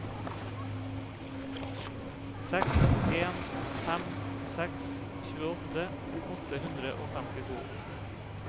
seks en fem seks tjueåtte åtte hundre og femtito